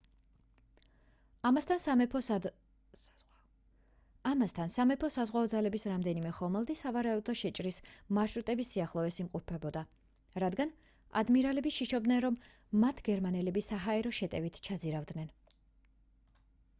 ამასთან სამეფო საზღვაო ძალების რამდენიმე ხომალდი სავარაუდო შეჭრის მარშრუტების სიახლოვეს იმყოფებოდა რადგან ადმირალები შიშობდნენ რომ მათ გერმანელები საჰაერო შეტევით ჩაძირავდნენ